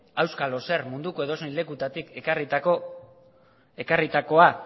auskalo zer munduko edozein lekutatik ekarritakoa